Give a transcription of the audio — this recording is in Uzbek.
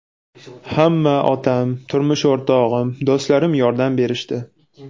Hamma otam, turmush o‘rtog‘im, do‘stlarim yordam berishdi.